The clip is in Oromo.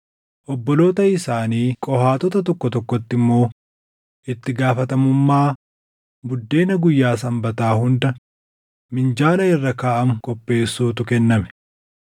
Obboloota isaanii Qohaatota tokko tokkotti immoo itti gaafatamummaa buddeena guyyaa Sanbataa hunda minjaala irra kaaʼamu qopheessuutu kenname.